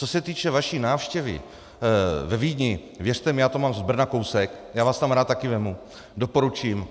Co se týče vaší návštěvy ve Vídni, věřte mi, já to mám z Brna kousek, já vás tam rád taky vezmu, doporučím.